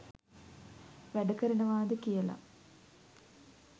වැඩකරනවාද කියල.